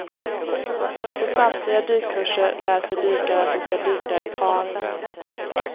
På samtliga dykkurser lär sig dykare att de ska dyka i par.